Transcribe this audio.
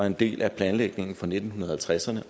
en del af planlægningen fra nitten halvtredserne